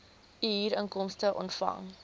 u huurinkomste ontvang